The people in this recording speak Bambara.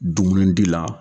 Dumunidi la.